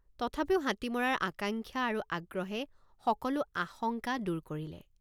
তথাপিও হাতী মৰাৰ আকাঙ্ক্ষা আৰু আগ্ৰহে সকলো আশঙ্কা দূৰ কৰিলে।